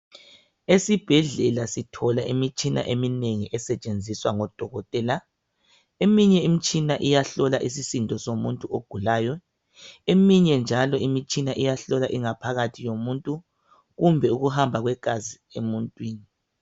Esibhedlela sithola imitshina eminengi esetshenziswa ngodokotela. Eminye imitshina iyahlola isisindo somuntu ogulayo eminye njalo imitshina iyahlola ingaphakathi yomuntu .Kumbe ukuhamba kwegazi emuntwini.